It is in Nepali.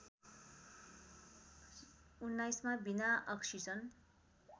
१९ मा बिना अक्सिजन